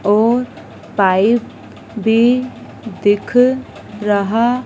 और पाइप भी दिख रहा--